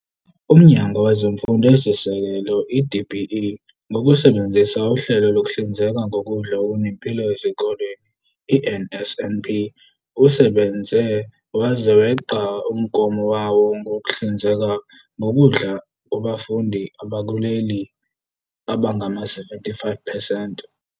UMnyango Wezemfundo Eyisisekelo, i-DBE, ngokusebenzisa uHlelo Lokuhlinzeka Ngokudla Okunempilo Ezikoleni, i-NSNP, usebenze waze weqa umgomo wawo wokuhlinzeka ngokudla kubafundi bakuleli abangama-75 percent.